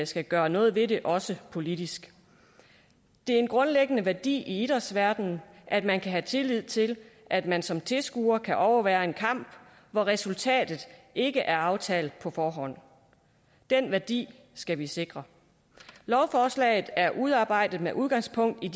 skal gøre noget ved det også politisk det er en grundlæggende værdi i idrætsverdenen at man kan have tillid til at man som tilskuer kan overvære en kamp hvor resultatet ikke er aftalt på forhånd den værdi skal vi sikre lovforslaget er udarbejdet med udgangspunkt i